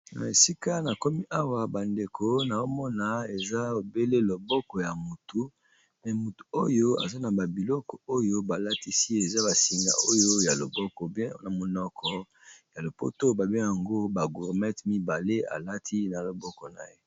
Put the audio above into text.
na esika na komi awa bandeko na omona eza ebele loboko ya motu pe motu oyo aza na babiloko oyo balatisi eza basinga oyo ya loboko bna monoko ya lopoto babe yango bagurmete mibale alati na loboko na ye